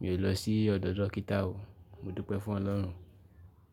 mi ò lọ sí ọ̀dọ̀ dókítà o. Mo dúpẹ́ fún Ọlọ́run.